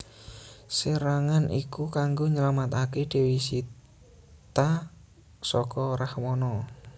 Serangan iku kanggo nylametaké Dewi Sita saka Rahwana